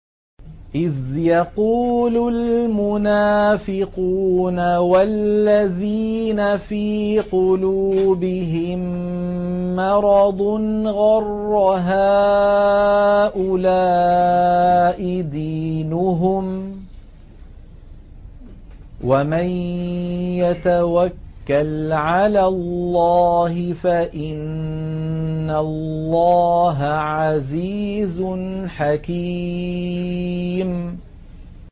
إِذْ يَقُولُ الْمُنَافِقُونَ وَالَّذِينَ فِي قُلُوبِهِم مَّرَضٌ غَرَّ هَٰؤُلَاءِ دِينُهُمْ ۗ وَمَن يَتَوَكَّلْ عَلَى اللَّهِ فَإِنَّ اللَّهَ عَزِيزٌ حَكِيمٌ